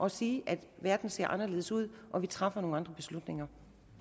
at sige at verden ser anderledes ud og at vi træffer nogle andre beslutninger